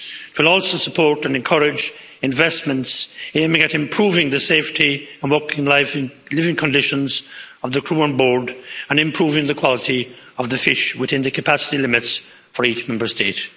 It will also support and encourage investments aiming at improving the safety and working life and living conditions of the crew on board and improving the quality of the fish within the capacity limits for each Member State.